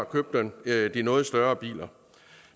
købte de noget større biler